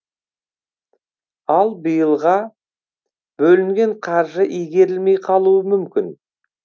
ал биылға бөлінген қаржы игерілмей қалуы мүмкін